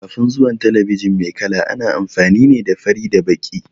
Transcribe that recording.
Kafin zuwan talabijin mai kala, ana amfani ne da fari da baƙi.